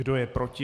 Kdo je proti?